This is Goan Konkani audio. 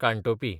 कानटोपी